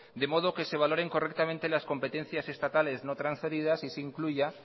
de modo que se valoren correctamente las competencias estatales no trasferidas y se incluya